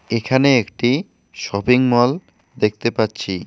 এখানে একটি shopping mall দেখতে পাচ্ছি।